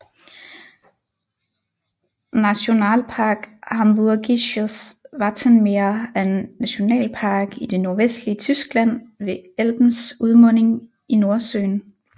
Nationalpark Hamburgisches Wattenmeer er en nationalpark i det nordvestlige Tyskland ved Elbens udmunding i Nordsøen